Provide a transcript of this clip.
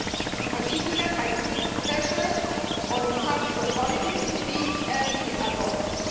in particular, by putting pressure on public authorities to be early adopters.